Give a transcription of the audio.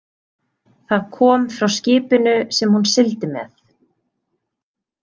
Það kom frá skipinu sem hún sigldi með.